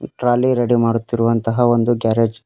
Trolley ready ಮಾಡುತ್ತಿರುವಂತಹ ಒಂದು garage .